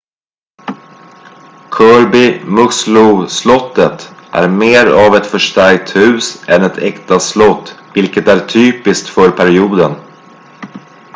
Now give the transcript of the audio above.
kirby muxloe-slottet är mer av ett förstärkt hus än ett äkta slott vilket är typiskt för perioden